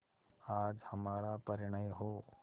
आज हमारा परिणय हो